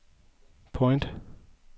point